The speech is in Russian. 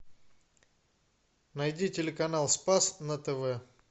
найди телеканал спас на тв